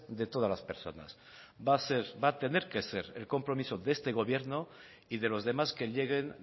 de todas las personas va a ser va a tener que ser el compromiso de este gobierno y de los demás que lleguen